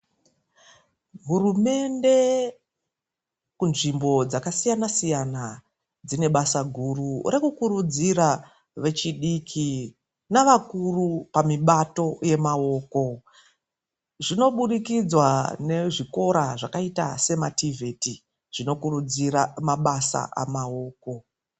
Hurumende kunzvimbo dzakasiyana siyana, dzine basa guru rekukurudzira vechidiki nevechikuru pamibato yemaoko Zvinobudikidza nekuenda kuzvikora zvakaita se mativheti zvinokurudzira mabasa emaoko.